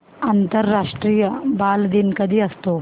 आंतरराष्ट्रीय बालदिन कधी असतो